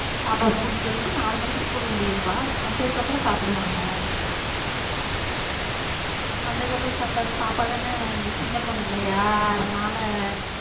பாப்பா வ கூட்டிட்டு வந்துட்டு நாலு மணிக்கு ஸ்கூல் முடியும்ப்பா வந்ததுக்கு அப்றம் சாப்டுவாங்க வந்ததுக்கு அப்புறம் சாப்ட்ட பாப்பா தான சின்ன பொண்ணு இல்லையா அதுனால